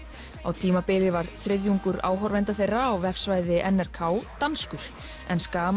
á tímabili var þriðjungur áhorfenda þeirra á vefsvæði n r k danskur